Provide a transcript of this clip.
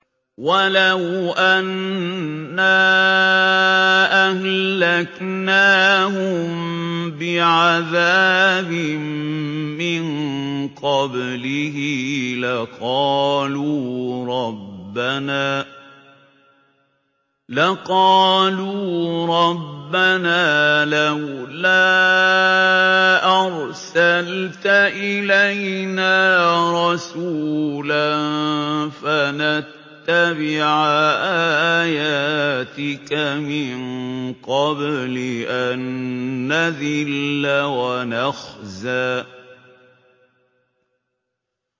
وَلَوْ أَنَّا أَهْلَكْنَاهُم بِعَذَابٍ مِّن قَبْلِهِ لَقَالُوا رَبَّنَا لَوْلَا أَرْسَلْتَ إِلَيْنَا رَسُولًا فَنَتَّبِعَ آيَاتِكَ مِن قَبْلِ أَن نَّذِلَّ وَنَخْزَىٰ